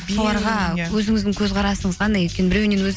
соларға өзіңіздің көзқарасыңыз қандай өйткені біреуінен